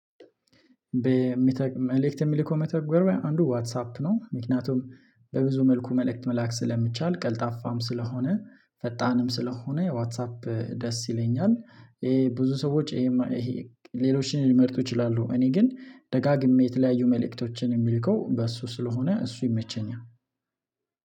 በመልእክት የሚልኩ መተገርቢያ አንዱ ዋትሳፕ ነው ምክንያቱም በብዙ መልኩ መልእክት መላክ ስለሚቻል ቀልጣፋም ስለሆነ ፈጣንም ስለሆነ ዋትሳፕ ደስ ይለኛል። ይሄ ብዙ ሰዎች ይሄ ሌሎችን ሊመርጡ ይችላሉ እኔ ግን ደጋግሜ የተለያዩ መልእክቶችን የምልከው በሱ ስለሆነ እሱ ይመቸኛል።